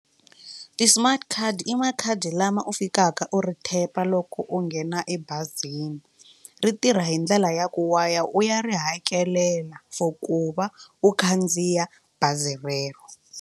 Ti-smart card i makhadi lama u fikaka u ri tap-a loko u nghena ebazini ri tirha hi ndlela ya ku wa ya u ya ri hakelela for ku va u khandziya bazi rero.